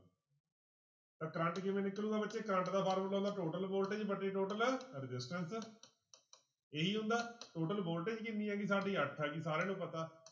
ਤਾਂ ਕਰੰਟ ਕਿਵੇਂ ਨਿਕਲੇਗਾ ਬੱਚੇ ਕਰੰਟ ਦਾ ਫਾਰਮੁਲਾ ਹੁੰਦਾ total voltage ਵਟੇ total resistance ਇਹੀ ਹੁੰਦਾ total voltage ਕਿੰਨੀ ਆ ਗਈ ਸਾਡੀ ਅੱਠ ਆ ਗਈ ਸਾਰਿਆਂ ਨੂੰ ਪਤਾ।